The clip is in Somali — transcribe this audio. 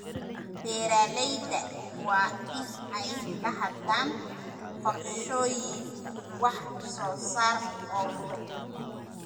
Beeralayda waa in ay lahaadaan qorshooyin wax soo saar oo fog.